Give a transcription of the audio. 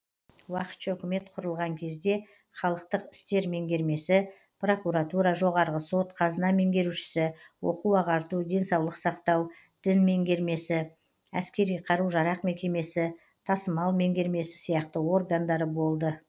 уақытша үкімет құрылған кезде халықтық істер меңгермесі прокуратура жоғарғы сот қазына меңгерушісі оқу ағарту денсаулық сақтау дін меңгермесі әскери қару жарақ мекемесі тасымал меңгермесі сияқты органдары болды